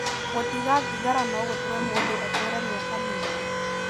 Gũtiga thigara no gũtũme mũndũ atũũre mĩaka mĩingĩ.